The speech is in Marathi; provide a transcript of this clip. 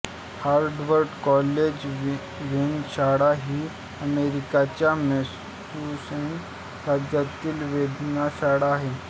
हार्वर्ड कॉलेज वेधशाळा ही अमेरिकेच्या मॅसेच्युसेट्स राज्यातील वेधशाळा आहे